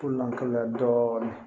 Lɔnya dɔɔnin